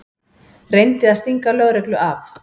Reyndi að stinga lögreglu af